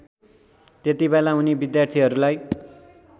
त्यतिबेला उनी विद्यार्थीहरूलाई